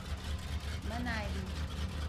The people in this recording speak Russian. манави